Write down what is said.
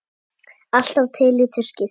Alltaf til í tuskið.